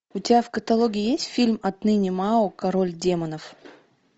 у тебя в каталоге есть фильм отныне мао король демонов